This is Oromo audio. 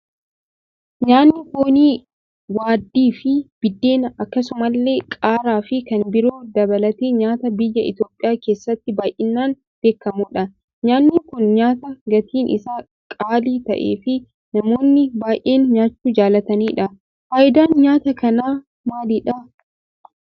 Nyaanni foonii waaddii fi biddeena, akkasumallee qaaraa fi kan biroo dabalatee nyaata biyya Itoophiyaa keessatti baay'inaan beekkamudha. Nyaanni kun nyaata gatiin isaa qaalii ta'ee fi namoonni baay'een nyaachuu jaallatanidha. Faayidaan nyaata kanaa maalidha?